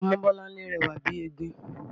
Ọmọbọ́láńlé rẹwà bíi egbin